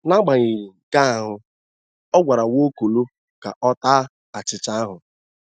N’agbanyeghị nke ahụ, a gwara Nwaokolo ka ọta achịcha ahụ.